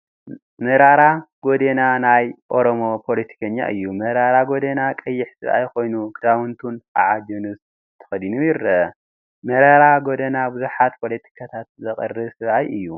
መራራ ጉዴና ናይ ኦሮሞ ፓለቲከኛ እዩ፡፡ መራራ ጉዴና ቀይሕ ሰብአይ ኮይኑ፤ ክዳውንቱ ከዓ ጅኑስ ተከዲኑ ይርአ፡፡ መራራ ጉዴና ብዙሓት ፓለቲካታት ዘቅርብ ሰብአይ እዩ፡፡